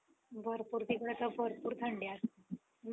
परवा गेल्तो theatre ला black tiger बघितला